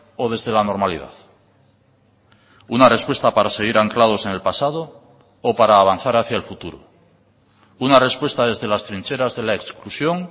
o desde la normalidad una respuesta para seguir anclados en el pasado o para avanzar hacia el futuro una respuesta desde las trincheras de la exclusión